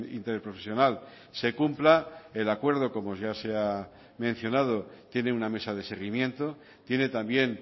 interprofesional se cumpla el acuerdo como ya se ha mencionado tiene una mesa de seguimiento tiene también